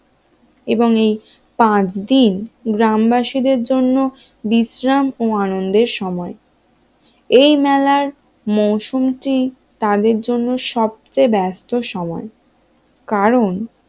এবং এই পাঁচ দিন গ্রামবাসীদের জন্য বিশ্রাম ও আনন্দের সময় এই মেলার মৌসমটি তাদের জন্য সবচেয়ে ব্যস্ত সময় কারণ